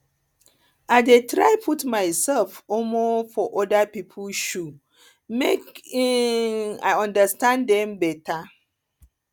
i dey try put mysef um for oda pipo shoe make um i understand dem beta